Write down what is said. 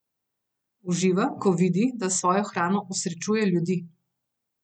Uživa, ko vidi, da s svojo hrano osrečuje ljudi.